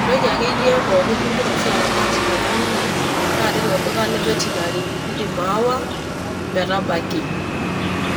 ,entoki akeyie pookin ningira oshi aramat tenkang ino naa tilo duka le veterinary indim awa metabaki.